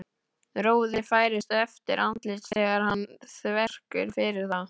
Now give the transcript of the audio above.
Roði færist yfir andlitið þegar hann þvertekur fyrir það.